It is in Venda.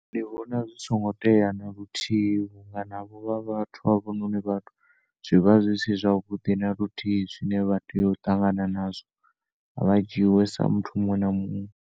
Ndi vhona zwisongo tea na luthihi vhunga navho vha vhathu. Zwivha zwi si zwa vhuḓi naluthihi zwine vha tea u ṱangana nazwo khavha jiiwe sa muthu munwe na munwe.